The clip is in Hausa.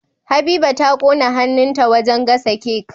Habiba ta ƙona hannun ta wajan gasa cake